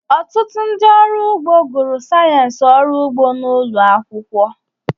Ọtụtụ ndị ọrụ ugbo gụrụ sayensị ọrụ ugbo n'ụlọ akwụkwọ